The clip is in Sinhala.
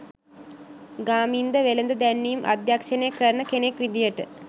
ගාමින්ද වෙළෙඳ දැන්වීම් අධ්‍යක්ෂණය කරන කෙනෙක් විදියට